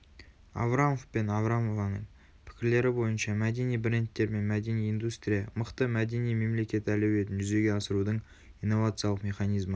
аврамов пен аврамованың пікірлері бойынша мәдени брендтер мен мәдени индустрия мықты мәдени мемлекет әлеуетін жүзеге асырудың инновациялық механизмі